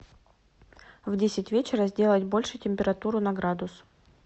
в десять вечера сделать больше температуру на градус